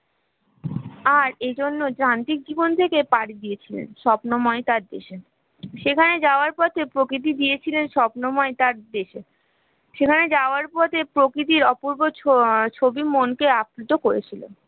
আর ঐ জন্য যান্ত্রিক জীবন থেকে পাড়ি দিয়েছিলেন স্বপ্নময় তাকে সেখানে যাওয়ার পথে প্রকৃতি দিয়েছিলেন স্বপ্নময় সেখানে যাওয়ার পথে প্রকৃতির অপূর্ব ছবি মনকে আপ্লুত করেছিল